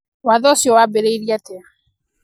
Watho ũcio waambĩrĩirie atĩa?